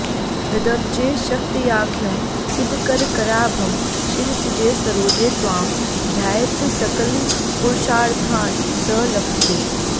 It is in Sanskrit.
हृदब्जे शक्त्याख्यं सितकरकराभं शिरसिजे सरोजे त्वां ध्यायेत्सकलपुरुषार्थान् स लभते